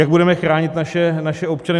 Jak budeme chránit naše občany.